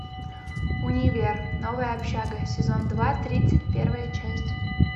универ новая общага сезон два тридцать первая часть